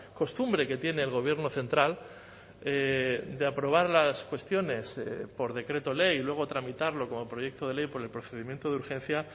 costumbre que tiene el gobierno central de aprobar las cuestiones por decreto ley y luego tramitarlo como proyecto de ley por el procedimiento de urgencia